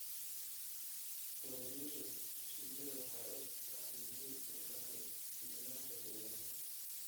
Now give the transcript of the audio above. Pollination shinnidu waxay muhiim u tahay nidaamka deegaanka.